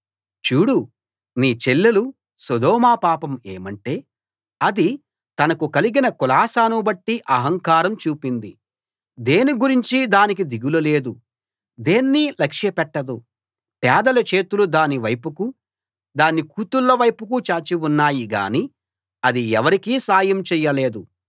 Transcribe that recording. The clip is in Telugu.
చూడు నీ చెల్లెలు సొదొమ పాపం ఏమంటే అది తనకు కలిగిన కులాసాను బట్టి అహంకారం చూపింది దేని గురించీ దానికి దిగులు లేదు దేన్నీ లక్ష్య పెట్టదు పేదల చేతులు దాని వైపుకు దాని కూతుళ్ళ వైపుకు చాచి ఉన్నాయి గానీ అది ఎవరికీ సాయం చెయ్యలేదు